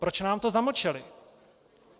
Proč nám to zamlčeli?